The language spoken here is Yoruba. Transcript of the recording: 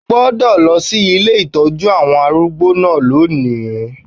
O gbọ́dọ̀ lọ sí ilé ìtọ́jú àwọn arúgbó náà lónìí